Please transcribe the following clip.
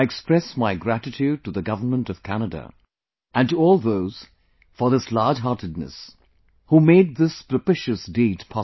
I express my gratitude to the Government of Canada and to all those for this large heartedness who made this propitious deed possible